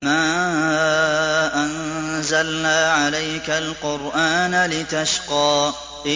مَا أَنزَلْنَا عَلَيْكَ الْقُرْآنَ لِتَشْقَىٰ